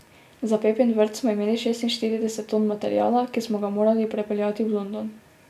Za Pepin vrt smo imeli šestinštirideset ton materiala, ki smo ga morali prepeljati v London.